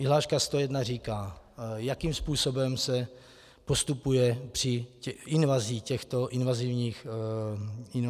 Vyhláška 101 říká, jakým způsobem se postupuje při invazi těchto invazivních škůdců.